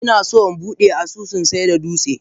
Inaso inbude asusun saida dutse.